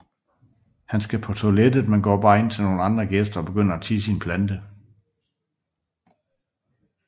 Han skal på toilettet men går bare ind til nogle andre gæster og begynder at tisse i en plante